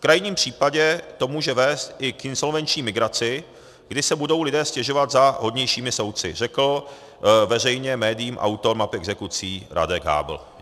V krajním případě to může vést i k insolvenční migraci, kdy se budou lidé stěhovat za hodnějšími soudci, řekl veřejně médiím autor map exekucí Radek Hábl.